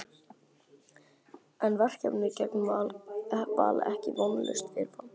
En er verkefnið gegn Val ekki vonlaust fyrirfram?